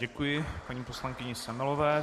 Děkuji paní poslankyni Semelové.